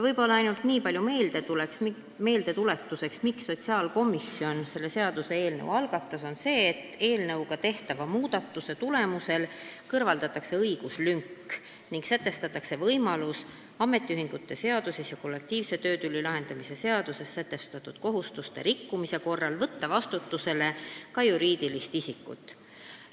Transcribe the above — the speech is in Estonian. Ja ainult nii palju meeldetuletuseks, miks sotsiaalkomisjon selle seaduseelnõu algatas: eelnõuga tehtava muudatuse tulemusel kõrvaldatakse õiguslünk ning sätestatakse võimalus, et ametiühingute seaduses ja kollektiivse töötüli lahendamise seaduses märgitud kohustuste rikkumise korral saab vastutusele võtta ka juriidilist isikut.